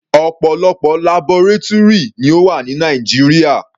Ọ̀pọ̀lọpọ̀ labọrátúrì ni ó wà ní Nàìjíríà.